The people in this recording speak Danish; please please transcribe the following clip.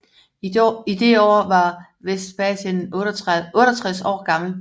I det år var Vespasian 68 år gammel